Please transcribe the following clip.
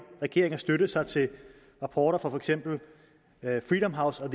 regeringen at støtte sig til rapporter fra for eksempel freedom house og